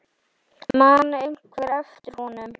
Man einhver eftir honum?